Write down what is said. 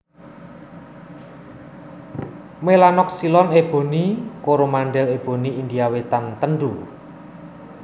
melanoxylon Eboni Koromandel eboni India wétan tendu